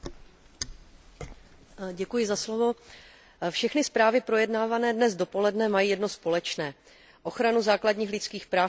Všechny zprávy projednávané dnes dopoledne mají jedno společné ochranu základních lidských práv v Evropské unii a společný evropský postup v této oblasti.